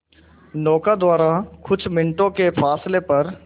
नौका द्वारा कुछ मिनटों के फासले पर